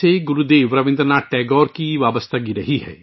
Gurudev Rabindranath Tagore Shantiniketan سے جڑے رہے ہیں